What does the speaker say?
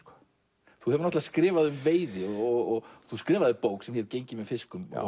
þú hefur skrifað um veiði og þú skrifaðir bók sem hét gengið með fiskum